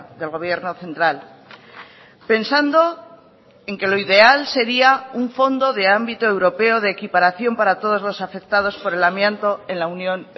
del gobierno central pensando en que lo ideal sería un fondo de ámbito europeo de equiparación para todos los afectados por el amianto en la unión